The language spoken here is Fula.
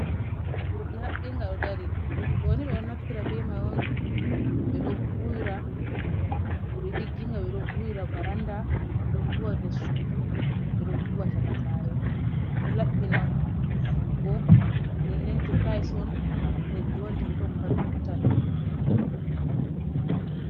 Burɗi haɓɓinga ɗon dari, burɗi ɗo ɓeɗo naftira be mai on ɓeɗo vuuwira. Burɗi digginga ɓeɗo vuwira baranda, ɓeɗo vuuwa nder suudu, ɓeɗo vuuwa chaaka saare. Ɗo laɓɓina vuwugo nden nden to tayis'on leddi wontotton paat vurtan.